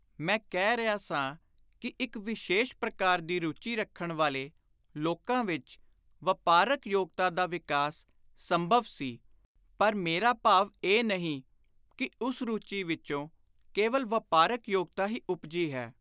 ਮੈਂ ਕਹਿ ਰਿਹਾ ਸਾਂ ਕਿ ਇਕ ਵਿਸ਼ੇਸ਼ ਪ੍ਰਕਾਰ ਦੀ ਰੁਚੀ ਰੱਖਣ ਵਾਲੇ ਲੋਕਾਂ ਵਿਚ ਵਾਪਾਰਕ ਯੋਗਤਾ ਦਾ ਵਿਕਾਸ ਸੰਭਵ ਸੀ; ਪਰ ਮੇਰਾ ਭਾਵ ਇਹ ਨਹੀਂ ਕਿ ਉਸ ਰੁਚੀ ਵਿਚੋਂ ਕੇਵਲ ਵਾਪਾਰਕ ਯੋਗਤਾ ਹੀ ਉਪਜੀ ਹੈ।